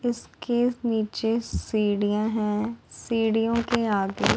उसके नीचे सीढ़ियां हैं सीढ़ियों के आगे--